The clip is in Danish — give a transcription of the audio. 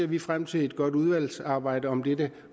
vi frem til et godt udvalgsarbejde om dette